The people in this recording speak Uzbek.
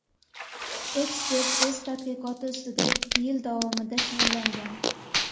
Ekspert o‘z tadqiqoti ustida ikki yil davomida shug‘ullangan.